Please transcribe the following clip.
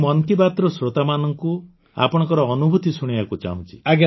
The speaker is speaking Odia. ମୁଁ ମନ୍ କି ବାତ୍ର ଶ୍ରୋତାମାନଙ୍କୁ ଆପଣଙ୍କ ଅନୁଭୂତି ଶୁଣାଇବାକୁ ଚାହୁଁଛି